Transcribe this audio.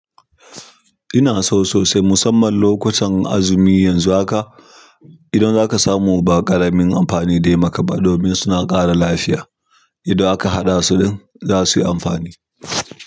Ina so sosai musamman lokutan azumi yanzu haka, idan za ka samu baƙaramin amfani dai ma ka ba domin suna ƙara lafiya. Idan aka haɗa su din za su yi amfani.